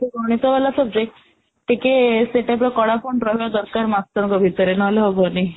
ଗୋଟେ ଗଣିତ ହେଲା subject ଟିକେ ସେ type ର କଳା control ର ଦରକାର ମାଷ୍ଟ୍ରଙ୍କ ଭିତରେ ନହଲେ ହବନି